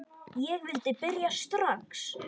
Ég vildi byrja strax.